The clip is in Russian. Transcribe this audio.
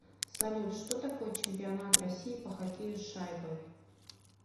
салют что такое чемпионат россии по хоккею с шайбой